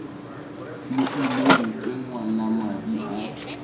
mo immeng ke ngwanamadi a